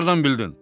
Haradan bildin?